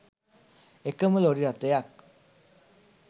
එකම ලොරි රථයක්